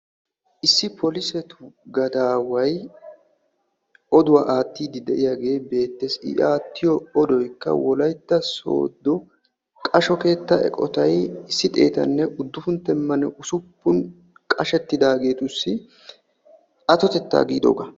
Issi xaacettu gadaway eqqiddi oduwa aattiddi beetees. I aattiyo oddoy qasho keetta qashettidaagettu attotetta giyaaga.